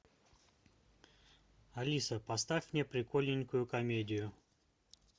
алиса поставь мне прикольненькую комедию